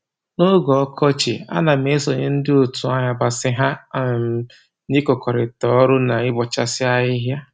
N'oge ọkọchị, a na m esonye ndị otu ayabasị ha um na-ịkụkọrịta ọrụ na ịbọchasị ahịhịa